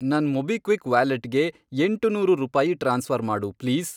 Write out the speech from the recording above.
ನನ್ ಮೊಬಿಕ್ವಿಕ್ ವ್ಯಾಲೆಟ್ಗೆ, ಎಂಟುನೂರು ರೂಪಾಯಿ ಟ್ರಾನ್ಸ್ಫ಼ರ್ ಮಾಡು ಪ್ಲೀಸ್.